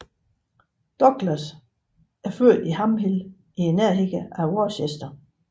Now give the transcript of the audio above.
Douglas er født i Ham Hill i nærheden af Worcester